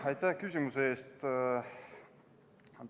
Aitäh küsimuse eest!